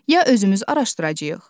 Ya özümüz araşdıracağıq.